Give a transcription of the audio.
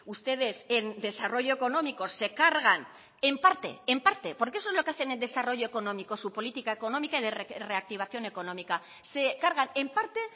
ustedes en desarrollo económico se cargan en parte en parte porque eso es lo que hacen en desarrollo económico su política económica y de reactivación económica se cargan en parte